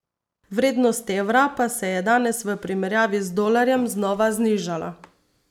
Vrednost evra pa se je danes v primerjavi z dolarjem znova znižala.